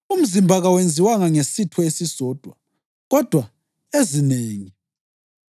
Umzimba kawenziwanga ngesitho esisodwa kodwa ezinengi.